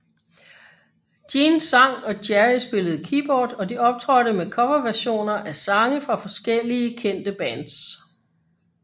Jean sang og Gerry spillede keyboard og de optrådte med coverversioner af sange fra forskellige kendte bands